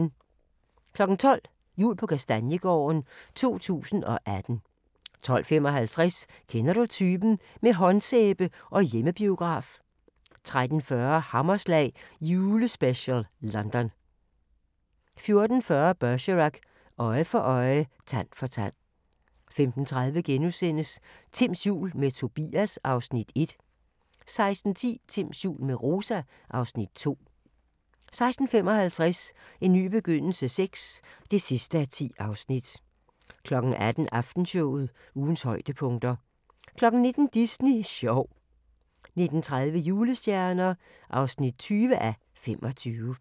12:00: Jul på Kastaniegården - 2018 12:55: Kender du typen? – med håndsæbe og hjemmebiograf 13:40: Hammerslag julespecial: London 14:40: Bergerac: Øje for øje, tand for tand 15:30: Timms jul – med Tobias (Afs. 1)* 16:10: Timms jul – med Rosa (Afs. 2)* 16:55: En ny begyndelse VI (10:10) 18:00: Aftenshowet – ugens højdepunkter 19:00: Disney sjov 19:30: Julestjerner (20:25)